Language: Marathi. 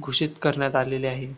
घोषित करण्यात आलेले आहे